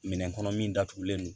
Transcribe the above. Minɛn kɔnɔ min datugulen don